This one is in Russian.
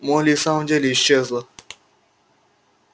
молли и в самом деле исчезла